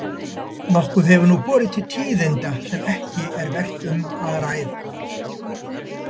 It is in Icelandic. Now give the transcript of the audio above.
Nokkuð hefur nú borið til tíðinda sem ekki er vert um að ræða.